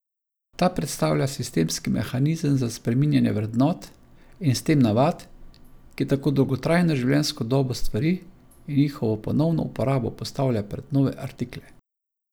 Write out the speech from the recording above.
Ta predstavlja sistemski mehanizem za spreminjanje vrednot in s tem navad, ki tako dolgotrajno življenjsko dobo stvari in njihovo ponovno uporabo postavlja pred nove artikle.